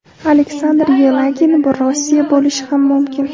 Aleksandr Yelagin: Bu Rossiya bo‘lishi ham mumkin!